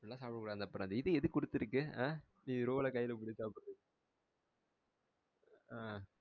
அப்டி எல்லாம் சாப்பிடகூடாது. அப்புறம் அந்த இது எதுக்கு குடுத்துருக்கு? ஆ நீ roll அஹ கையில பிடிச்சி சாப்டுறதுக்கு ஆ